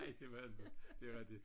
Nej det var inte det var de